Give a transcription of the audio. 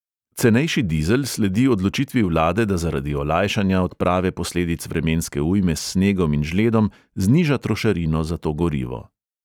Cenejši dizel sledi odločitvi vlade, da zaradi olajšanja odprave posledic vremenske ujme s snegom in žledom zniža trošarino za to gorivo.